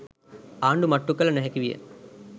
ආණ්ඩු මට්ටු කළ නොහැකි විය